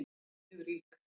Ég er mjög rík